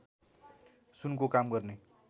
सुनको काम गर्ने